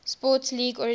sports league originally